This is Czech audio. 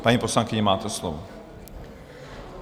Paní poslankyně, máte slovo.